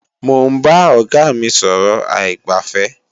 Mò ń bá Ọ̀gá mí sọ̀rọ̀ aìgbàfẹ́